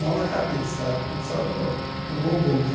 Não na cabeça, a só no no bumbum né.